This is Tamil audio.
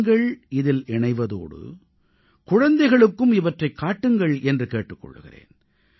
நீங்களும் இதில் இணைவதோடு குழந்தைகளுக்கும் இவற்றைக் காட்டுங்கள் என்றும் கேட்டுக் கொள்கிறேன்